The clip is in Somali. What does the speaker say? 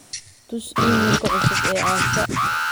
tus iimaylka cusub ee asha